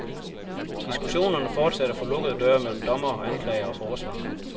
Diskussionerne fortsatte for lukkede døre mellem dommere, anklagere og forsvarer.